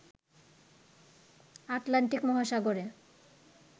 Atlantic মহাসাগরে